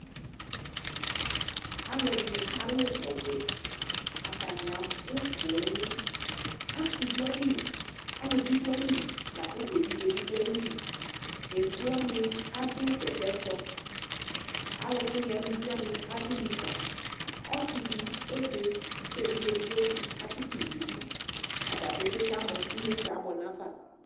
Alʋɛdɩnɩ kalʋ ɔbɛ : atanɩ abʋ pooŋ ; asɩ dʋ ayili , aluvi dʋ ayili lakʋ evidze bɩ dʋ ayili Evidze wanɩ adʋ bɛtɛtsɔ ; alʋwɩnɩ eluvi wanɩ adʋ nikǝ Ɔsɩdɩ ebe , k'evidze edigbodɩ atsɩtʋ yɩ n'idu ata petee kamɔ : inyesɛ abʋɛ nafa